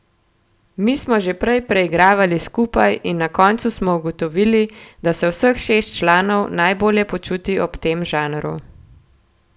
Mi smo že prej preigravali skupaj in na koncu smo ugotovili, da se vseh šest članov najbolje počuti ob tem žanru.